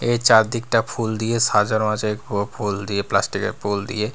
এর চারদিকটা ফুল দিয়ে সাজানো আছে ফ-ফুল দিয়ে প্লাস্টিক -এর ফুল দিয়ে।